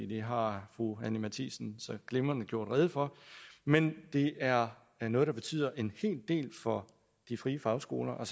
det har fru anni matthiesen så glimrende gjort rede for men det er er noget der betyder en hel del for de frie fagskoler og